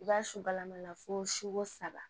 I b'a subalama la fo suko saba